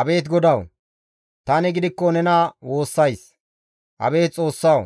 Abeet GODAWU! Tani gidikko nena woossays. Abeet Xoossawu!